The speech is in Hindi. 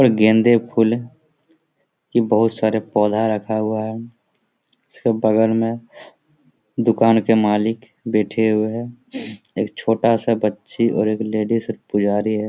गंदे फुल बहुत सारे पौधा रखा हुआ है इसके बगल में दुकान के मालिक बैठे हुए है एक छोटा सा बच्ची और एक लेडिस पुजारी है।